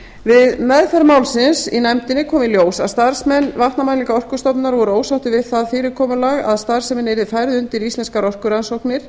við meðferð málsins í nefndinni kom í ljós að starfsmenn vatnamælinga orkustofnunar voru ósáttir við það fyrirkomulag að starfsemin yrði færð undir íslenskar orkurannsóknir